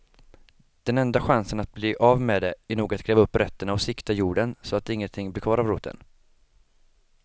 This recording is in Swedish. Den enda chansen att bli av med det är nog att gräva upp rötterna och sikta jorden så att ingenting blir kvar av roten.